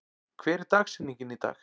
, hver er dagsetningin í dag?